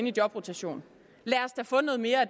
i jobrotation lad os da få noget mere af